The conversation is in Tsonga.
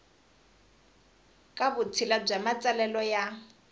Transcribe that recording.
ka vutshila bya matsalelo ya